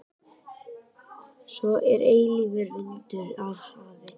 Svo er eilífur vindur af hafi.